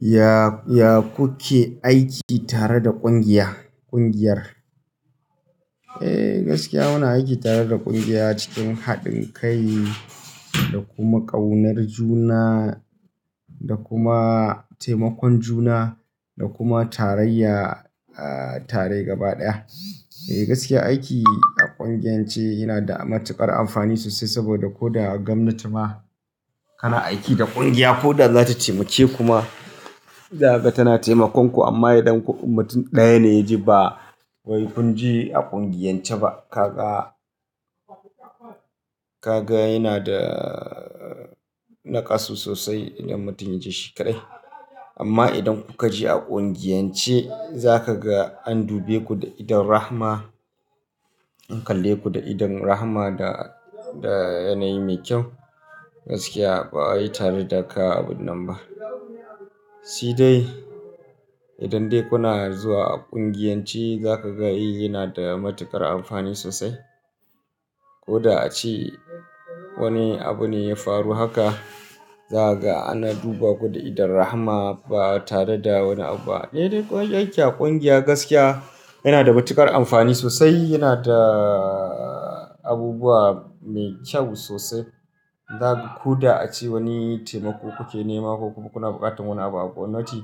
Ya-ya ku ke aiki tare da ƙungiya, ƙungiyar? Eh, gaskiya muna aiki tare da ƙungiya cikin haɗin kai da kuma ƙaunar juna da kuma taimakon juna da kuma tarayya, tare gaba ɗaya. Eh, gaskiya aiki a ƙungiyance yana da matuƙar amfani sosai saboda ko da a gwamnati ma kana aiki da ƙungiya ko da za ta taimake kuma zakaga tana taimakonku amma idan mutum ɗaya ne ya je ba wai kun je a ƙungiyance ba, kaga, kaga yana da naƙasu sosai idan mutum ya je shi kaɗai. Amma idan kuka je a ƙungiyance za ka ga an dube ku da idon rahma, an kalle ku da idon rahma da, da yanayi mai kyau. Gaskiya ba wai tare da ka abun nan ba. Shi dai idan dai kuna zuwa a ƙungiyance za ka ga yana da matuƙar amfani sosai. Ko da a ce wani abu ne ya faru haka, zaga ana duba ku da idon rahma ba tare da wani abu ba. Eh dai ƙungiya gaskiya yana da matuƙar amfani sosai, yana da abubuwa mai kyau sosai. Zakaga ko da a ce wani taimako kuke nema ko kuma kuna buƙatar wani abu a gwamnati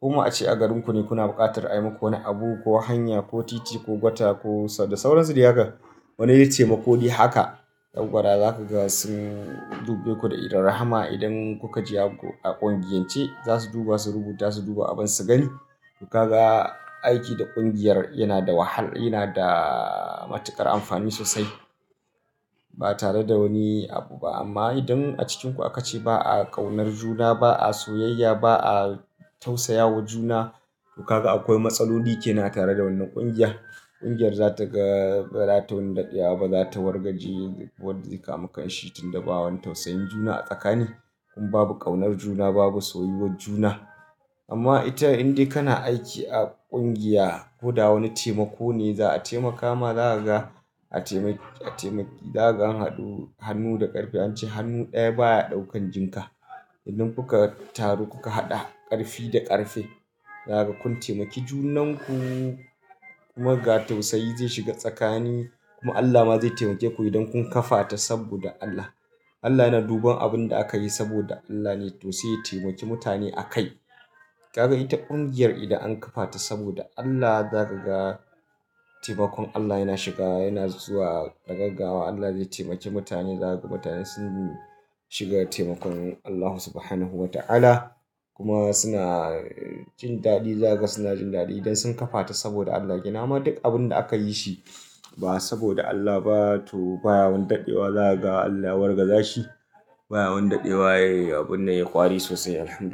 ko ma a ce a garinku ne kuna buƙatar a yi muku wani abu ko hanya ko titi ko gwata ko sar da sauransu dai haka. Wani dai taimako dai haka, dankwara zakaga sun dube ku da idon rahma. Idan kuka je a ƙungiyance, za su duba su rubuta su duba abin su gani. To kaga, aiki da ƙungiyar yana da wahala, yana da matuƙar amfani sosai ba tare da wani abu ba. Amma idan a cikinku aka ce ba a ƙaunar juna ba, a soyayya ba a tausayawa juna, to kaga akwai matsaloli ke nan a tare da wannan ƙungiya. Ƙungiyar za ta ga ba za ta wani daɗewa ba, za ta wargaje wanda ya samu kanshi tunda ba wani tausayin juna a tsakani. In babu ƙaunar juna, babu soyuwar juna. Amma ita in dai kana aiki a ƙungiya ko da wani taimako ne za a taimaka ma zakaga a taimi, a taimi zaga an haɗu hannu da ƙarfe an ce hannu ɗaya baya ɗaukan jinka. Idan kuka taru kuka haɗa ƙarfi da ƙarfe, zakaga kun taimaki junan ku kuma ga tausayi zai shiga tsakani kuma Allah ma zai taimake ku idan kun kafa ta saboda Allah. Allah yana duban abin da aka yi saboda Allah ne to sai ya taimaki mutane a kai. Kaga ita ƙungiyar idan an kafa ta saboda Allah zaka ga taimakon Allah yana shiga yana zuwa da gaggawa. Allah zai taimaki mutane, zaga mutane sun shiga taimakon Allah Subhanahu wa Ta'ala kuma suna jin daɗi, zakaga suna jin daɗi idan sun kafa ta saboda Allah. Gina ma duk abin da aka yi shi ba saboda Allah ba to baya wani daɗewa zakaga Allah ya wargaza shi. Baya wani daɗewa abun ya yi ƙwari sosai Alhamdulillah.